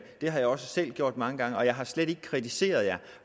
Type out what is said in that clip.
det har jeg også selv gjort mange gange og jeg har slet ikke kritiseret jer